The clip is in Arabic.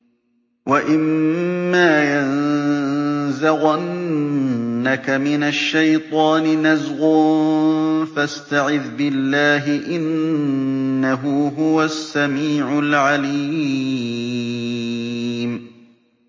وَإِمَّا يَنزَغَنَّكَ مِنَ الشَّيْطَانِ نَزْغٌ فَاسْتَعِذْ بِاللَّهِ ۖ إِنَّهُ هُوَ السَّمِيعُ الْعَلِيمُ